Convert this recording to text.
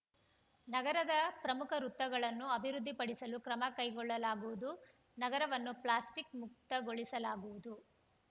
ನಗರದ ಪ್ರಮುಖ ವೃತ್ತಗಳನ್ನು ಅಭಿವೃದ್ಧಿ ಪಡಿಸಲು ಕ್ರಮ ಕೈಗೊಳ್ಳಲಾಗುವುದು ನಗರವನ್ನು ಪ್ಲಾಸ್ಟಿಕ್‌ ಮುಕ್ತಗೊಳಿಸಲಾಗುವುದು